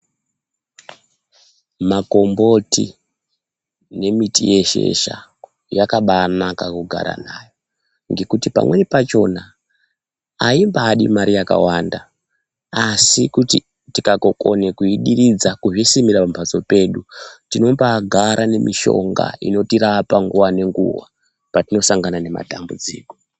Makomboti nemiti yeshesha yakabaanaka kugara nayo, ngekuti pamweni pachona ayimbadi mari yakawanda ,asi kuti tikakokone kuyidiridza kuzvisimira pambatso pedu, tinombaagara nemushonga inotirapa nguwa ngenguwa patinosangana nematambudziko.